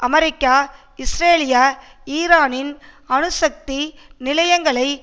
America இஸ்ரேலிய ஈரானின் அணுசக்தி நிலையங்களை